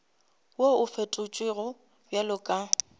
wo o fetotšwego bjalo ka